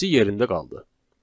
İkincisi yerində qaldı.